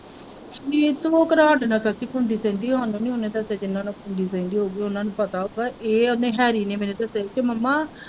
ਨਿੱਤੂ ਨਾਲ ਚਾਚੀ ਘੁੰਮਦੀ ਫਿਰਦੀ ਉਹਨਾ ਨੂੰ ਪਤਾ ਹੈੈ ਕ ਇਹ ਉਹਨੇ ਹੈਰੀ ਨੇ ਮੈਨੂੰ ਦੱਸਿਆ ਹੈ ਕਿ ਮੰਮਾ।